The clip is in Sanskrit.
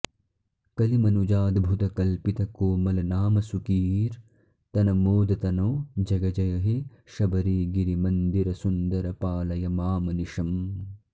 कलिमनुजाद्भुत कल्पितकोमलनामसुकीर्तनमोदतनो जय जय हे शबरीगिरिमन्दिरसुन्दर पालय मामनिशम्